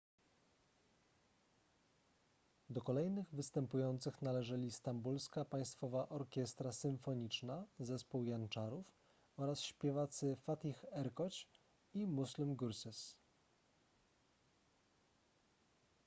do kolejnych występujących należeli stambulska państwowa orkiestra symfoniczna zespół janczarów oraz śpiewacy fatih erkoç i müslüm gürses